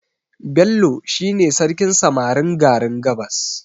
Bello shi ne sarkin samarin garin gabas